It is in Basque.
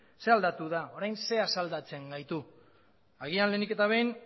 ze aldatu da orain ze asaldatzen gaitu agian lehenik eta behin